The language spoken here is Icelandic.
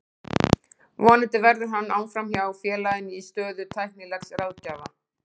Vonandi verður hann áfram hjá félaginu í stöðu tæknilegs ráðgjafa.